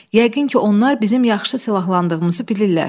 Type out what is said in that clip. Yəqin ki, onlar bizim yaxşı silahlandığımızı bilirlər.